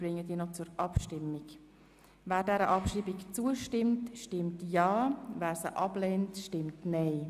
Wer dieser Abschreibung zustimmt, stimmt ja, wer sie ablehnt, stimmt nein.